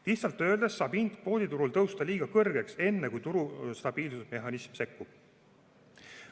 Lihtsalt öeldes saab hind kvooditurul tõusta liiga kõrgeks enne, kui turu stabiilsusmehhanism sekkub.